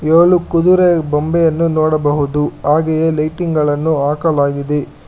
ಇದ್ರಲ್ಲು ಕುದುರೆಯ ಗೊಂಬೆಯನ್ನು ನೋಡಬಹುದು ಹಾಗೆಯೆ ಲೈಟಿಂಗ್ ಗಳನ್ನು ಹಾಕಲಾಗಿದೆ.